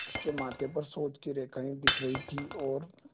उसके माथे पर सोच की रेखाएँ दिख रही थीं और